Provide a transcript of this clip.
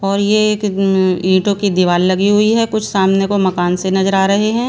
और ये एक ईंटों की दीवार लगी हुई है कुछ सामने को मकान से नजर आ रहे हैं।